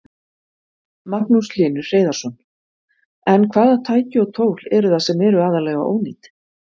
Magnús Hlynur Hreiðarsson: En hvaða tæki og tól eru það sem eru aðallega ónýt?